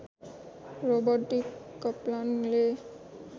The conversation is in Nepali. Robert D कप्लानले